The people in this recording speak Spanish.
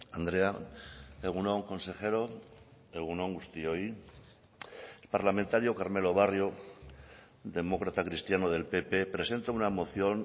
andrea egun on consejero egun on guztioi parlamentario carmelo barrio demócrata cristiano del pp presenta una moción